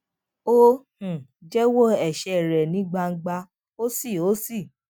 ó um jéwó èṣè rè ní gbangba ó sì ó sì